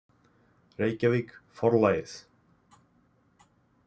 Reykjavík, Forlagið.